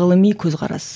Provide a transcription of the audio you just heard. ғылыми көзқарас